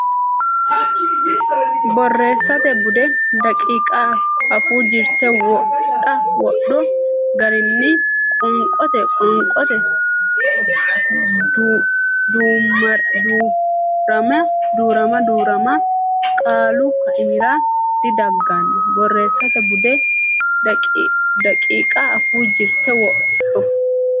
Borreessate Bude daqiiqa Afuu jirte wodho garinni qoonqote Qoonqote Duu rama duu rama qaalu kaimira didagganno Borreessate Bude daqiiqa Afuu jirte wodho.